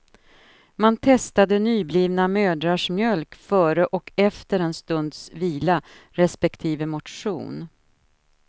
Man testade nyblivna mödrars mjölk före och efter en stunds vila respektive motion.